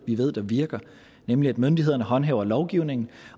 vi ved der virker nemlig at myndighederne håndhæver lovgivningen